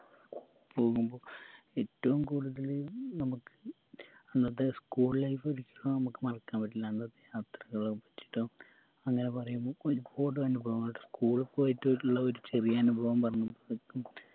പോകുമ്പോ ഏറ്റും കൂടുതല് നമക്ക് അന്നത്തെ school life ഒരിക്കലും മറക്കാൻ പറ്റില്ല അന്നത്തെ യാത്രകളും ഇഷ്ടോ അങ്ങനെ പറയുമ്പോ ഒരുപാട് അനുഭവങ്ങളുണ്ട് school പോയിട്ടുള്ളൊരു ചെറിയ അനുഭവം പറയും